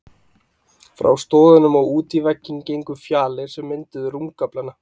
Frá stoðunum og út í vegginn gengu fjalir, sem mynduðu rúmgaflana.